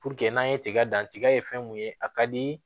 Puruke n'an ye tiga dan tiga ye fɛn mun ye a ka di